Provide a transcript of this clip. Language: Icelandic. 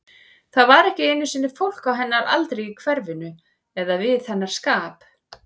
Það var ekki einu sinni fólk á hennar aldri í hverfinu, eða við hennar skap.